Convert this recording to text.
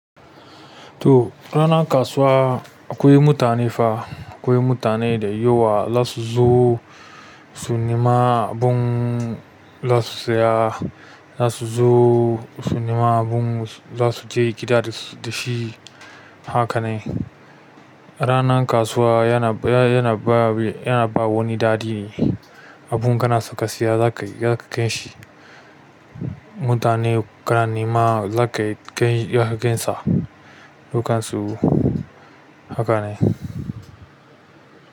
To ranar kasuwa akwai mutane fa, akwai mutane da yawa za su zo su nema abin za su saya, za su zo su nema abin za su je gida da shi. Haka ne. Ranar kasuwa yana, yana ba, yana ba wani daɗi ne. Abin ka na saka siya za ka, za ka gan shi. Mutane kana nema za ka yi, za ka gansa. Dukansu haka ne.